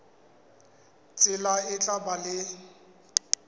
tsela e tla ba le